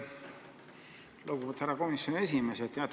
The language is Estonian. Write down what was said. Lugupeetud härra komisjoni esimees!